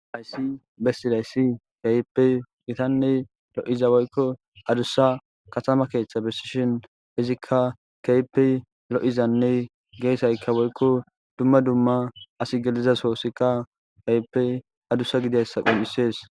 Haysi besizaysi kehipe gitane lo'iza woyko adusa katama keetha besishin izika keehipe lo'izane geesayka woyko duma duma asi gelida sohoysika keehipe adusa gidizaysa qoncises.